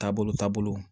Taabolo taabolo